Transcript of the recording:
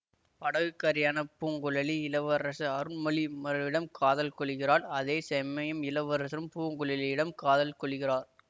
படகுக்காரியான பூங்குழலி இளவரசு அருள்மொழிமர்ரிடம் காதல் கொளுகிறாள் அதே செமயம் இளவரசரும் பூங்குழலியிடம் காதல் கொள்ளுகிறார்